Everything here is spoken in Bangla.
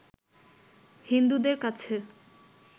হিন্দুদের কাছে